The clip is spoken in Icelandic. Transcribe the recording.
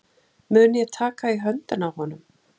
Mun ég taka í höndina á honum?